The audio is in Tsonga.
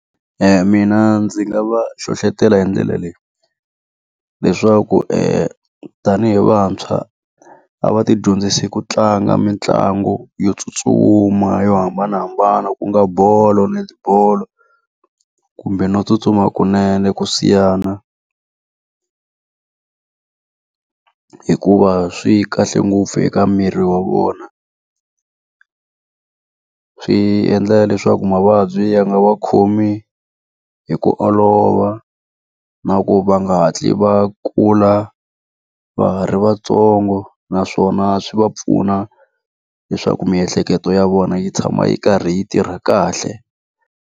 Mina ndzi nga va hlohletela hi ndlela leyi, leswaku tanihi vantshwa a va ti dyondzise ku tlanga mitlangu yo tsutsuma, yo hambanahambana ku nga bolo, netibolo, kumbe no tsutsuma kunene, ku siyana. Hikuva swi kahle ngopfu eka miri wa vona. Swi endla leswaku mavabyi ya nga va khomi hi ku olova, na ku va nga hatli va kula va ha ri vantsongo. Naswona swi va pfuna leswaku miehleketo ya vona yi tshama yi karhi yi tirha kahle.